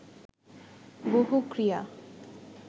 বহু ক্রিয়া